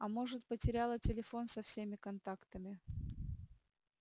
а может потеряла телефон со всеми контактами